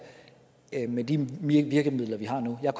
med de virkemidler vi har nu jeg